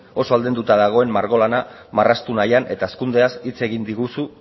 oso aldenduta dagoen margo lana marraztu nahian eta hazkundeaz hitz egin diguzu